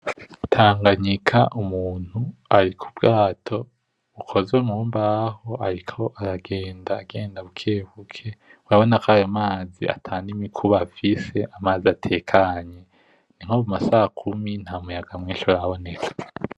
Tanganyika umuntu ari kubwato bukozwe mubaho ariko aragenda genda bukebuke urabona kwayo mazi atani mi kubafise amazi atekanye niko mu masa kumi nta muyaga mwishi uraboneka.